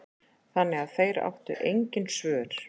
Þannig að þeir áttu engin svör.